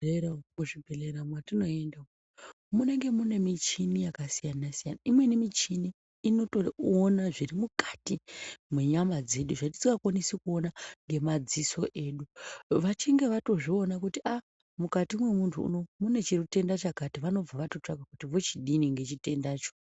Muzvibhodhlera matinoenda munenge munemuchini yakasiyana siyana imweni muchini inotoona zvirimukati mwenyama dzedu zvatisingakwanisi kuona ngemaziso edu vachinge vatozviona kuti aa mukati memuntu uneyi munechitenda chakati vanobva vatotsvaga kuti vochidini nechitendacho